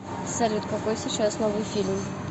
салют какой сейчас новый фильм